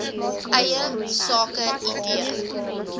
eie sake idee